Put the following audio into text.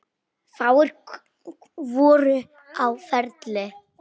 Fáir voru á ferli.